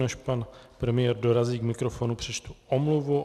Než pan premiér dorazí k mikrofonu, přečtu omluvu.